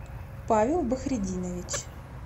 павел бахретдинович